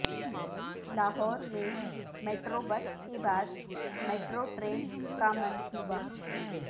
لاہور میں metro bus کے بعد میٹرو ٹرین کا منصوبہ